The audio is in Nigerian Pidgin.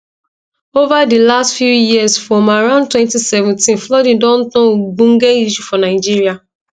ova di last few years from around 2017 flooding don turn ogbonge issue for nigeria